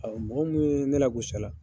Mɔgɔ minnu ye, ne lagosi a la